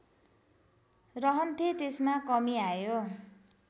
रहन्थे त्यसमा कमी आयो